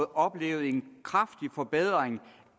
oplevet en kraftig forbedring